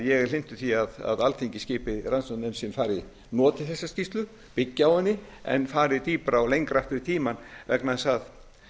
ég er hlynntur því að alþingi skipi rannsóknarnefnd sem noti þessa skýrslu byggi á henni en fari dýpra og lengra aftur í tímann vegna þess að